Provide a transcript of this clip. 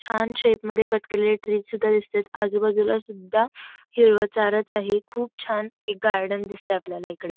छान शेप मध्ये कट केलेल्या ट्रीस दिसतात आजूबाजूला सुद्धा हिरवा चार च आहे खूप छान गार्डन दिसतंय आपल्याला इकडे.